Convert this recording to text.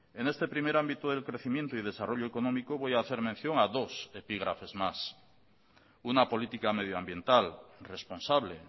en este primer ámbito del crecimiento y desarrollo económico voy a hacer mención a dos epígrafes más una política medioambiental responsable